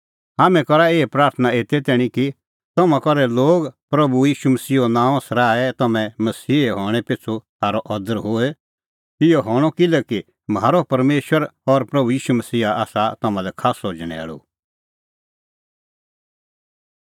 हाम्हैं करा एही प्राथणां एते तैणीं कि तम्हां करै लोग म्हारै प्रभू ईशूओ नांअ सराहे और तम्हैं मसीहे हणैं पिछ़ू थारअ अदर होए इहअ हणअ किल्हैकि म्हारअ परमेशर और प्रभू ईशू मसीहा आसा तम्हां लै खास्सअ झणैल़ू